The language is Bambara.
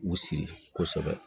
U siri kosɛbɛ